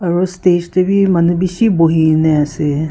aru stage teh bhi manu bishi bohine ase.